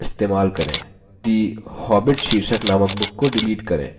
2 the hobbit शीर्षक नामक book को डिलीट करें